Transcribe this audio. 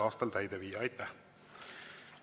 Aitäh!